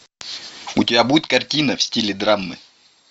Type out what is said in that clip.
у тебя будет картина в стиле драмы